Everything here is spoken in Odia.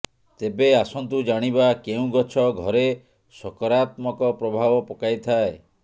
ତେବେ ଆସନ୍ତୁ ଜାଣିବା କେଉଁ ଗଛ ଘରେ ସକରାତ୍ମକ ପ୍ରଭାବ ପକାଇଥାଏ